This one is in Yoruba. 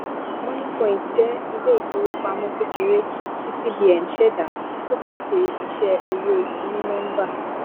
moniepoint jẹ iléìfowópamọ kékeré tí cbn ṣẹda ó pèsè iṣẹ owó onínọmbà